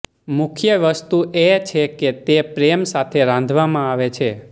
મુખ્ય વસ્તુ એ છે કે તે પ્રેમ સાથે રાંધવામાં આવે છે